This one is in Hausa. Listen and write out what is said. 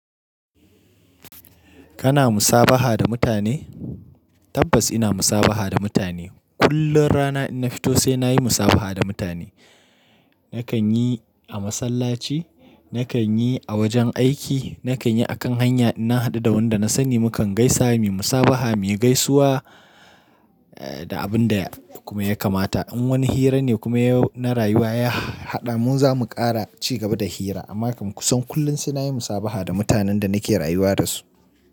Kana musabaha da mutane? Tabbas ina musabaha da mutane. Kullum rana idan in na fito sai na yi musabaha da mutane. Nakan yi a masallaci, nakan yi a wajen aiki, nakan yi akan hanya in na haɗu da wanda na sani mukan gaisa, mu musabaha, mu yi gaisuwa da abin da kuma ya kamata. In wani hira ne kuma ya na rayuwa ya haɗa mun zamu ƙara ci gaba da hira. Amma kam kusan kullum sai na yi musabaha da mutanen da nake rayuwa da su.